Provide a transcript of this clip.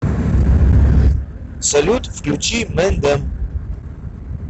салют включи мен дем